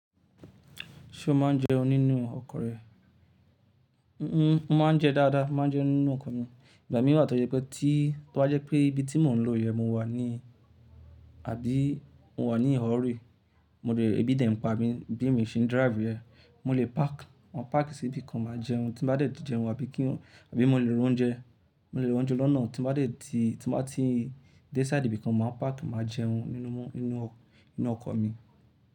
Ṣé o máa ń jẹun nínú ọkọ̀ rẹ? N-n ó máa ń jẹ dáadáa, máa ń jẹun nínú ọkọ̀ mi. Ìgbà míìran tó jẹ pé tí, tó bá jẹ́ pé ibi tí mò ń lọ yẹn mo wà ni, àbí mo wà ní un hurry rí, mo le, ebi dè npa mi bí emi ṣe ń drive rẹ̀. Mo lè park, máa park síbìkan máa jẹun tí bá dẹ̀ tí jẹun àbí kí n, àbí mo lè lo oúnjẹ, mo lè lo oúnjẹ lọ́nà tí mo bá dẹ̀ ti, tí mo bá ti dé sí ibi kan máa park máa jẹun nínú mọ́, nínú ọkọ̀ mi.